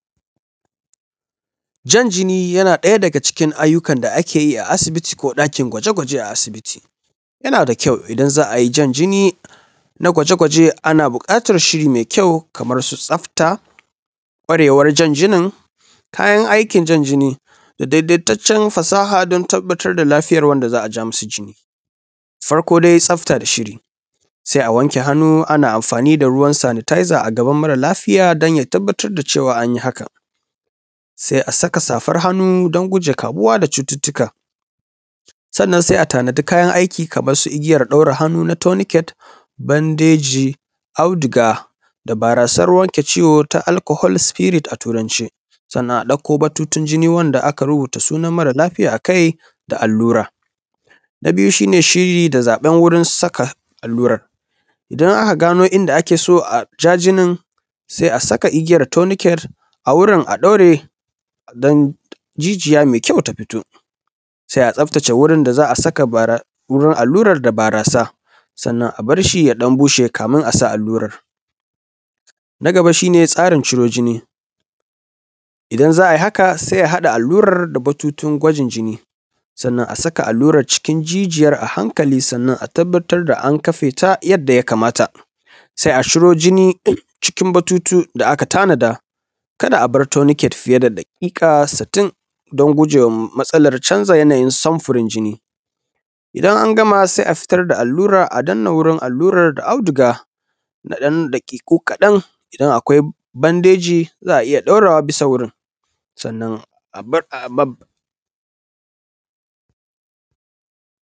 Jan jini na ɗaya daga cikin ayyukan da ake yi a asibiti ko ɗakin gwaje-gwajen a asibiti yana da ƙyau idan za a yi jan jini na gwaje-gwajen ana buƙatar shiri mai ƙyau kamar su tsafta ƙwarewa janjinin kayan aikin jan jini da da ingantaccen fasaha don tabbatar lafiyar wanda za a ja masa jini. Farko dai tsafta da shiri sai a wanke hannu ana amfani da ruwan sanitizer a gaban mara lafiy don ya tabbatar da cewa an yi hakan. Sai a saka safar hannu din gujewa kamuwa da cututtuka. Sannan sai a tanadi kayana aiki kamar su igiyar ɗaure hannu na tonicare da bandeji auduga da barasar wanke ciwo ta alcohol spirit a turance. Sannan a dauko bututun jini wanda aka rubuta sunan mara lafiya a kai da alluar. Na biyu shi ne shiri da zaɓen wurin saka alluran, idan aka gano ninda ake so a ja jini sai a saka igiyar tonicate a wurin a daure don jiniya mai ƙyau ta fito. Sai tsaftace wurin da za saka barasa da wurin allurar da barasa, sannan a bar shinya ɗan bushe kaɗan kamun a sa allurar. Na gaba shi ne tsarin ciro jini idanz a a yi hakan sai a haɗa allurar ciro jini sannan a saka allurar cikin jijiyar a hankali sannan a tabbatar da an kafe ta yadda ya kamata. Sai a ciro jini ɗin cikin bututu da aka tanada kar da abar tonicate fiye da daƙiƙa sittin don gujewa matsalar sanza yanayin sam furin jini. Idan an gama sai a fitar da allura a danna wurin allurar da auduga na ɗan daƙiƙu kaɗan idan akwai bandeji za a iya ɗaurawa bisa wurin.